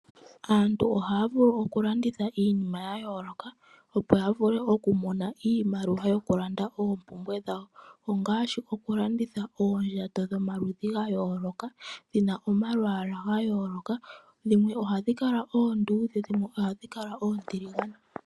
Aantu ohaya vulu okulanditha iinima yayooloka opo yavule okumona iimaliwa yokulanda oomoumbwe dhawo ongaashi okulanditha oondjato dhomaludhi gayooloka dhina omalwaala gayooloka dhimwe ohadhi kala oondudhe dhimwe oontuligane.